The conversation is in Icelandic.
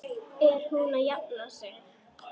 Er hún að jafna sig?